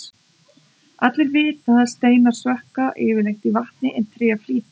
allir vita að steinar sökkva yfirleitt í vatni en tré flýtur